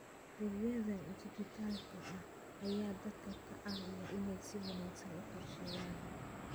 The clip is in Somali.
Adeegyada dijitaalka ah ayaa dadka ka caawiya inay si wanaagsan u qorsheeyaan.